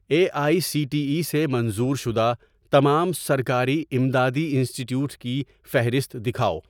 a I C T E سے منظور شدہ تمام سرکاری امدادی انسٹی ٹیوٹس کی فہرست دکھاؤ